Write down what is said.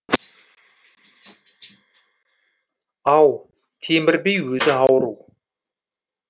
ау темір би өзі ауру